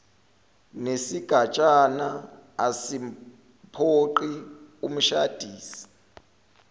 nesigatshana asimphoqi umshadisi